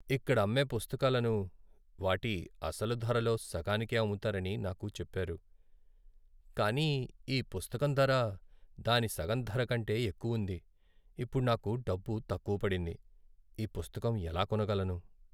ఇక్కడ అమ్మే పుస్తకాలను వాటి అసలు ధరలో సగానికే అమ్ముతారని నాకు చెప్పారు, కానీ ఈ పుస్తకం ధర దాని సగం ధర కంటే ఎక్కువుంది. ఇప్పుడు నాకు డబ్బు తక్కువ పడింది, ఈ పుస్తకం ఎలా కొనగలను?